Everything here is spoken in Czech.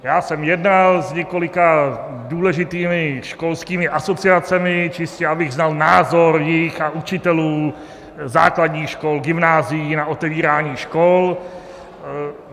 Já jsem jednal s několika důležitými školskými asociacemi, čistě abych znal názor jejich a učitelů základních škol, gymnázií na otevírání škol.